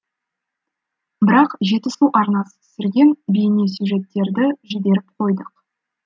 бірақ жетісу арнасы түсірген бейнесюжеттерді жіберіп қойдық